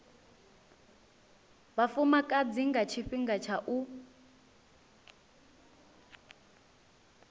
vhafumakadzi nga tshifhinga tsha u